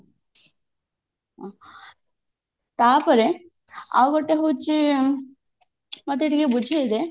ତାପରେ ଆଉ ଗୋଟେ ହଉଛି ମତେ ଟିକେ ବୁଝେଇ ଦେ